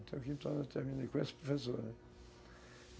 Até o quinto ano eu terminei com essa professora.